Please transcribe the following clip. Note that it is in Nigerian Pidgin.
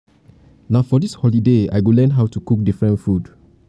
na for dis holiday i go learn how to cook different food